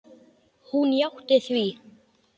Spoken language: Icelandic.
Hún játti því.